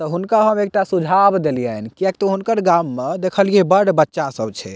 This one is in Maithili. त हुनका हम एकटा सुझाव देलियन किया कि हुनकर गाम में देखलिए बड़ बच्चा सब छै।